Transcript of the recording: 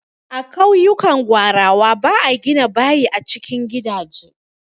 A ƙauyukan gwarawa ba a gina bayi a cikin gidaje.